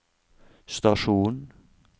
stasjon